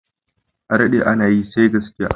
Adaɗe ana yi, sai gaskiya